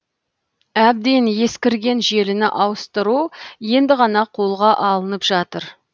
әбден ескірген желіні ауыстыру енді ғана қолға алынып жатыр